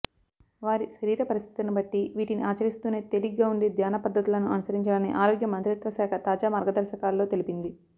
వారి శరీరపరిస్థితిని బట్టి వీటిని ఆచరిస్తూనే తేలిగ్గా ఉండే ధ్యాన పద్థతులను అనుసరించాలని ఆరోగ్య మంత్రిత్వశాఖ తాజా మార్గదర్శకాలలో తెలిపింది